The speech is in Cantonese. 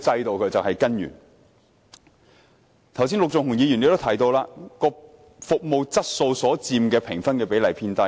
陸頌雄議員剛才亦提到，服務質素所佔的評分比例偏低。